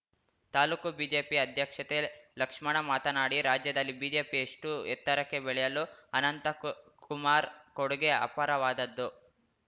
taluk BJP ಅಧ್ಯಕ್ಷತೆ ಲಕ್ಷ್ಮಣ ಮಾತನಾಡಿ ರಾಜ್ಯದಲ್ಲಿ ಬಿಜೆಪಿ ಎಷ್ಟುಎತ್ತರಕ್ಕೆ ಬೆಳೆಯಲು ಅನಂತಕು ಕುಮಾರ್‌ ಕೊಡುಗೆ ಅಪಾರವಾದದ್ದು